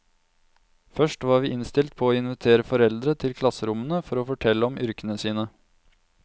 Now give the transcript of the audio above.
Først var vi innstilt på å invitere foreldre til klasserommene for å fortelle om yrkene sine.